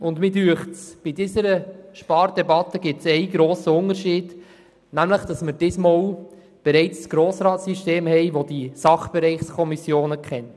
Ich finde, im Vergleich dazu gebe es bei der aktuellen Spardebatte einen grossen Unterschied: Wir haben heute ein System im Grossen Rat, das die Sachbereichskommissionen kennt.